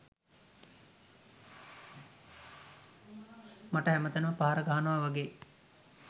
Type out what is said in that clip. මට හැම තැනම පහර ගහනවා වගේ?